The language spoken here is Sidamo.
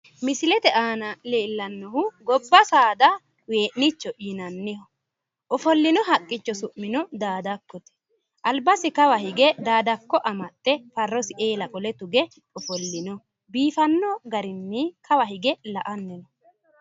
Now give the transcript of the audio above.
misilete aana leellennohuno gobba saada wee'nicho yinanniho ofollino haqqicho su'mino daadakko yinannite albasi kawa hige daadakko amaxxe farrosi eele qole tuge ofollino biifanno garinni albasi kawa hige la'anni no,